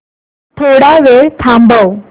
थोडा वेळ थांबव